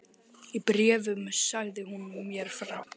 Í bréfunum sagði hún mér frá